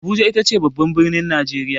Abuja ita ce babban birnin Najeriya.